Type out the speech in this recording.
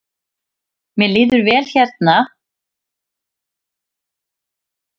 Mér líður vel hér og það eru ekki nein vandamál með samninga.